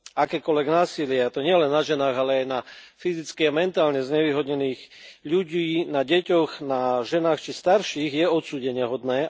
Akékoľvek násilie, a to nielen na ženách, ale aj na fyzicky a mentálne znevýhodnených ľudí, na deťoch, na ženách či starších, je odsúdeniahodné.